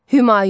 Humayun.